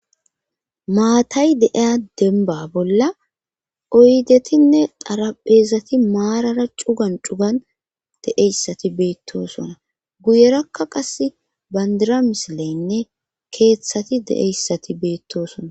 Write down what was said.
maatay deeya denba bolla oydetinne darapheezati maarara cugan cugan de7eyssati beettosona guyerakka qas bandira misileynne keeththati de7eyssati beettosona